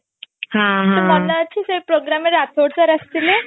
ତୋର ମନେ ଅଛି ସେ programme ରେ ରାଥୋଡ sir ଆସି ଥିଲେ